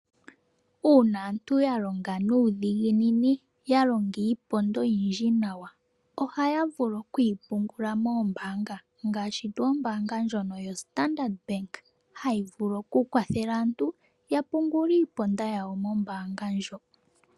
Uuna aantu ya longa nuudhiginini ya longa iiponda oyindji nawa. Ohaya vulu okuyi pungula moombaanga ngaashi tuu ombaanga ndjono yaStandard, hayi vulu okukwathela aantu ya pungule iiponda yawo mombaanga ndjo.